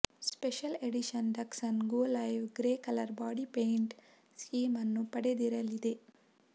special edition Datsun go live grey colour body paint scheme ಅನ್ನು ಪಡೆದಿರಲಿದೆ